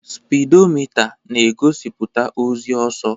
Spidomita na-egosiputa ozi ọsọ.